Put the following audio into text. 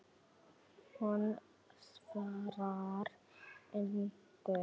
Hún svarar engu.